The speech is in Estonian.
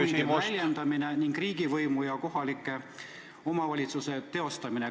... poliitiliste huvide väljendamine ning riigivõimu ja kohaliku omavalitsuse võimu teostamine.